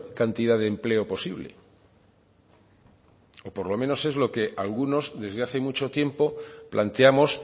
cantidad de empleo posible o por lo menos es lo que algunos desde hace mucho tiempo planteamos